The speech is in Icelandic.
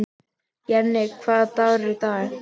Jenni, hvaða dagur er í dag?